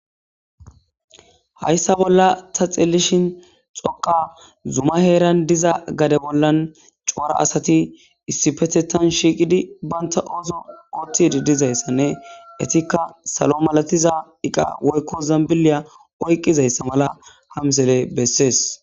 Haysa bolan ta xelishini dhoqa zuma heran diza gade bolan c'ora asati issipetetan shiqidi banta oso othidi dizaysane etika salo malatiza iqa woyko zambiliya oyqizaysa mala ha missile beses.